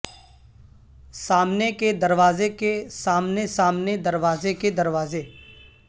سامنے کے دروازے کے سامنے سامنے دروازے کے دروازے